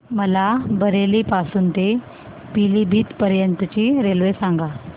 मला बरेली पासून तर पीलीभीत पर्यंत ची रेल्वे सांगा